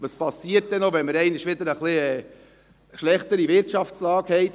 Was geschieht, wenn wir einmal wieder eine etwas schlechtere Wirtschaftslage haben?